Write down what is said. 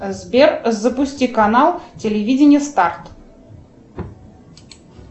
сбер запусти канал телевидение старт